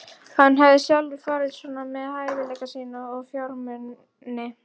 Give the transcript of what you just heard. Hann hafði sjálfur farið svona með hæfileika sína og fjármuni.